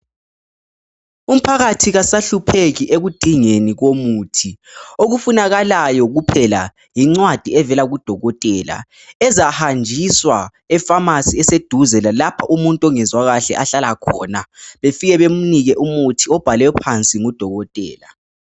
Umphakathi kasahlupheki ekudingeni komuthi. Okufunakalayo kuphela yincwadi evela kudokotela ezahanjiswa efamasi eseduze lalapho umuntu ongezwa kuhle ahlala khona befike bemnike umuthi obhalwe phansi ngudokotela.